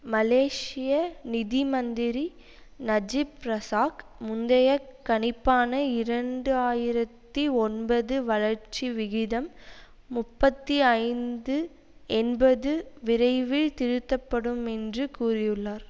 மலேசிய நிதி மந்திரி Najib Razak முந்தைய கணிப்பான இரண்டு ஆயிரத்தி ஒன்பது வளர்ச்சி விகிதம் முப்பத்தி ஐந்து என்பது விரைவில் திருத்தப்படும் என்று கூறியுள்ளார்